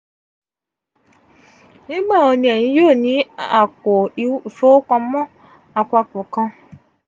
nigbawo ni eyin yoo ni apo ifowopamo apapọ kan?